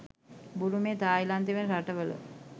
බුරුමය, තායිලන්තය වැනි රටවල